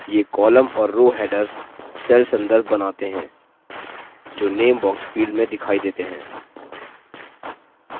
ये column और row headers cell संदर्भ बनाते हैं जो name box field में दिखाई देते हैं